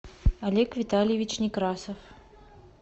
олег витальевич некрасов